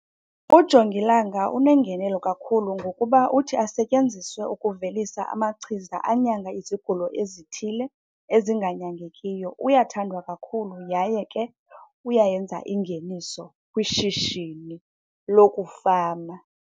Ujongilanga unengenelo kakhulu ngokuba uthi asetyenziswe ukuvelisa amachiza anyanga izigulo ezithile ezinganyangekiyo. Uyathandwa kakhulu yaye ke uyayenza ingeniso kwishishini lokufama.